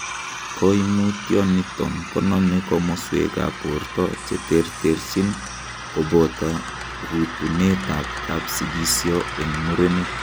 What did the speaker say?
Koimutioniton konome komoswekab borto cheterterchin koboto rutunetab kapsikisyo en muren.